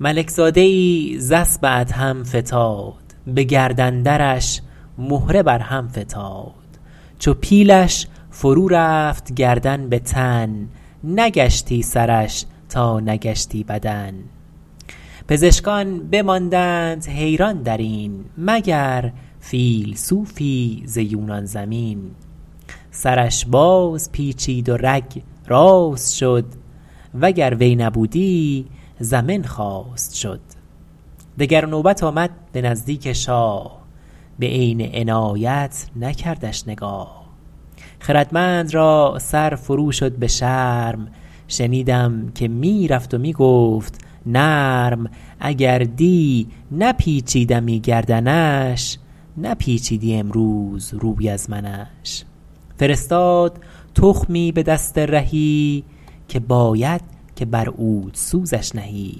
ملک زاده ای ز اسب ادهم فتاد به گردن درش مهره بر هم فتاد چو پیلش فرو رفت گردن به تن نگشتی سرش تا نگشتی بدن پزشکان بماندند حیران در این مگر فیلسوفی ز یونان زمین سرش باز پیچید و رگ راست شد وگر وی نبودی زمن خواست شد دگر نوبت آمد به نزدیک شاه به عین عنایت نکردش نگاه خردمند را سر فرو شد به شرم شنیدم که می رفت و می گفت نرم اگر دی نپیچیدمی گردنش نپیچیدی امروز روی از منش فرستاد تخمی به دست رهی که باید که بر عودسوزش نهی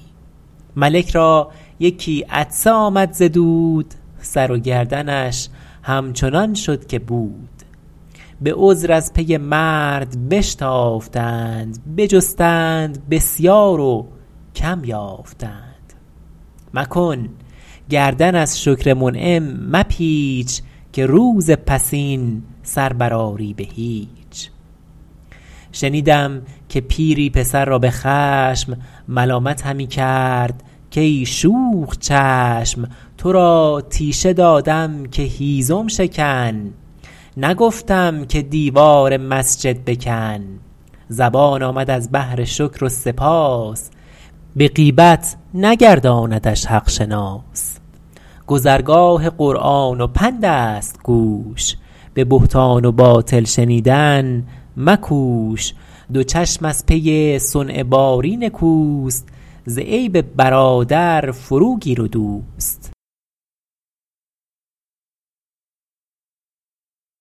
ملک را یکی عطسه آمد ز دود سر و گردنش همچنان شد که بود به عذر از پی مرد بشتافتند بجستند بسیار و کم یافتند مکن گردن از شکر منعم مپیچ که روز پسین سر بر آری به هیچ شنیدم که پیری پسر را به خشم ملامت همی کرد کای شوخ چشم تو را تیشه دادم که هیزم شکن نگفتم که دیوار مسجد بکن زبان آمد از بهر شکر و سپاس به غیبت نگرداندش حق شناس گذرگاه قرآن و پند است گوش به بهتان و باطل شنیدن مکوش دو چشم از پی صنع باری نکوست ز عیب برادر فرو گیر و دوست